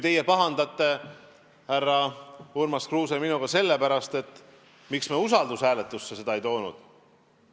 Teie pahandate, härra Urmas Kruuse, minuga sellepärast, miks me seda usaldushääletusena siia ei toonud.